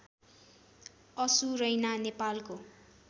असुरैना नेपालको